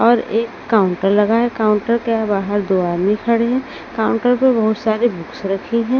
और एक काउंटर लगा है काउंटर के बाहर दो आदमी खड़े हैं काउंटर पर बहुत सारी बुक्स रखी हैं।